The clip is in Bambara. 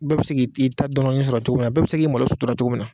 Bɛɛ bɛ se k'i ta dɔ dɔɔnin sɔrɔ cogo min na ,bɛɛ bɛ se k'i malo sutura cogo min na.